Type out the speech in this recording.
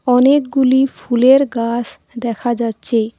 অনেকগুলি ফুলের গাস দেখা যাচ্ছে।